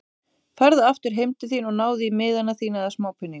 Farðu aftur heim til þín og náðu í miðana þína eða smápeninga.